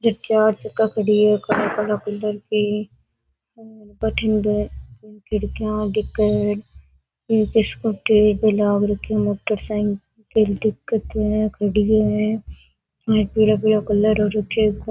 जट चार चका खड़ी है काला काला कलर की और बठीने बे खिड़किया दिखे है एक स्कूटी भी लाग राखी है मोटरसाइकिल दिखे है खड़ी है पीला पीला कलर हो रखयो है।